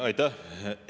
Aitäh!